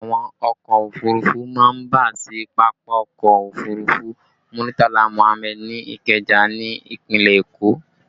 Àwọn ọkọ òfurufú má ń bà sí pápákọ̀ òfurufú Muritala Muhammad ní Ikeja ni ìpínlẹ̀ Èkó